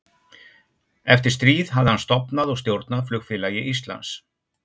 Eftir stríð hafði hann stofnað og stjórnað Flugfélagi Íslands